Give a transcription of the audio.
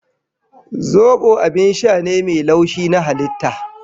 Zobo abin sha ne mai laushi na halitta